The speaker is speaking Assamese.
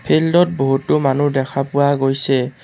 ফিল্ড ত বহুতো মানুহ দেখা পোৱা গৈছে।